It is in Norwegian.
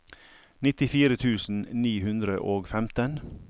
nittifire tusen ni hundre og femten